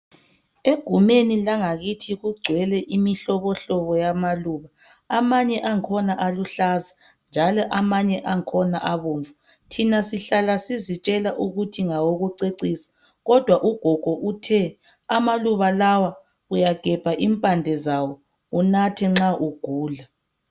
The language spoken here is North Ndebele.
Egumeni langakithi kugcwele imihlobohlobo yamaluba. Amanye angkhona aluhlaza njalo amanye angkhona abomvu. Thina sihlala sizitshela ukuthi ngawokucecisa, kodwa ugogo uthe amaluba lawa uyagebha impande zawo unathe nxa ugula.